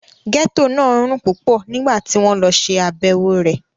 Gẹ́tò náà rùn púpọ̀ nígbà tí wọ́n lọ ṣe àbẹ̀wò rẹ̀